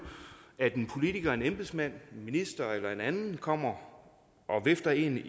at en politiker en embedsmand en minister eller en anden kommer og vifter en